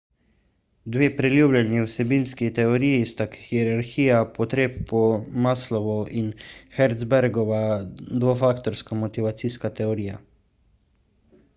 dve priljubljeni vsebinski teoriji sta hierarhija potreb po maslowu in herzbergova dvofaktorska motivacijska teorija